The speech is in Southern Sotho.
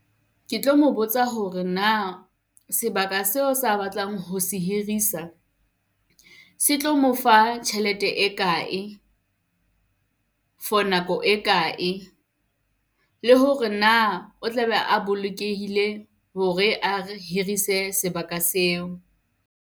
Ke tlo mo botsa hore na sebaka seo sa batlang ho se hirisa se tlo mo fa tjhelete e kae? For nako e kae? Le hore na o tla be a bolokehile hore re hirise sebaka seo.